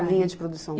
Na linha de produção?